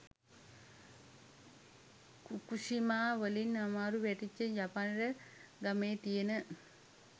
Fukushima වලින් අමාරුවෙ වැටිච්ච ජපනට ගමේ තියෙන